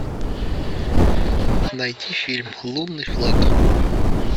найти фильм лунный флаг